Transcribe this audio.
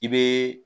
I bɛ